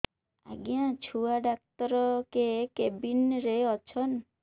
ଆଜ୍ଞା ଛୁଆ ଡାକ୍ତର କେ କେବିନ୍ ରେ ଅଛନ୍